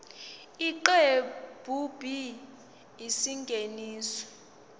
isiqephu b isingeniso